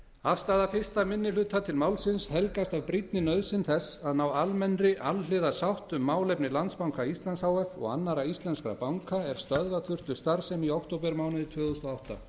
afstaða fyrsti minni hluta til málsins helgast af brýnni nauðsyn þess að ná almennri alhliða sátt um málefni landsbanka íslands h f og annarra íslenskra banka er stöðva þurftu starfsemi í októbermánuði tvö þúsund og átta